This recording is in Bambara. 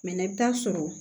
Mɛ i bɛ taa sɔrɔ